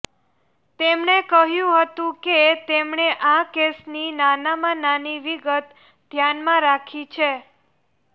તેમણે કહ્યું હતું કે તેમણે આ કેસની નાનામાં નાની વિગત ધ્યાનમાં રાખી છે